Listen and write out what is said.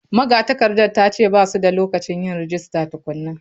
Magatakardar ta ce ba su da lokacin yin rajista tukuna.